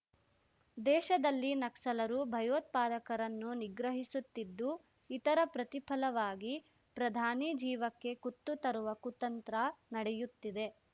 ದೇಶದಲ್ಲಿ ನಕ್ಸಲರು ಭಯೋತ್ಪದಾಕರನ್ನು ನಿಗ್ರಹಿಸುತ್ತಿದ್ದು ಇತರ ಪ್ರತಿಫಲವಾಗಿ ಪ್ರಧಾನಿ ಜೀವಕ್ಕೆ ಕುತ್ತು ತರುವ ಕುತಂತ್ರ ನಡೆಯುತ್ತಿದೆ